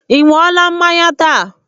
I ṅụọla mmanya taa?